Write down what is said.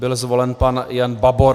Byl zvolen pan Jan Babor.